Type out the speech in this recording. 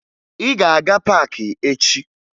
Ị ga-aga paakị echi!